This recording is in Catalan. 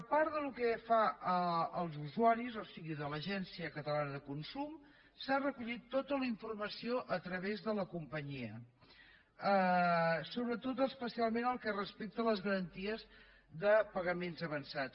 pel que fa als usuaris o sigui l’agència catalana de consum s’ha recollit tota la informació a través de la companyia sobretot especialment pel que respecte a les garanties de pagaments avançats